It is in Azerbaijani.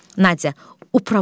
Nadya: Uprava üzvü.